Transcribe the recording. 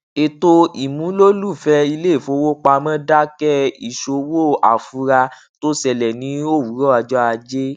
ètò ìmúlòlùfẹ iléifowopamọ dákẹ ìṣòwò àfura tó ṣẹlẹ ní òwúrọ ọjọ ajé